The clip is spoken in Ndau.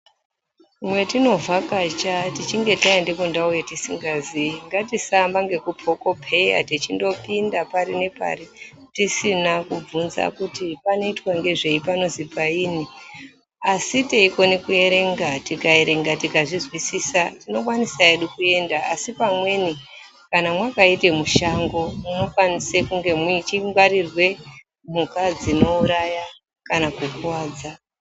Mwetinovhakacha tichinge taende kundau yatisingaziyi ngatisaamba ngekundopekopeya techindopinda pari ngepari tisina kubvunza kuti panoitwa ngezvei panozwi painyi asi teikone kuerenga tikaerenga tikazvizwisisa tinokwanisa hedu kuenda asi pamweni kana mwakaita mushango munokwanise kunge muchingwarirwe mhuka dzinouraya kana kukuwadza.